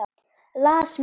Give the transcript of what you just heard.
Las mikið.